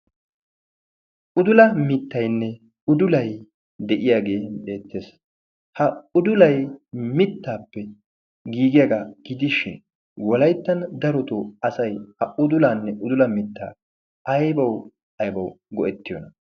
Udula mittainne udulai de'iyaagee deettees. ha udulay mittaappe giigiyaagaa gidishin wolayttan daroto asay ha udulaanne udula mittaa aybau aybawu go'ettiyoona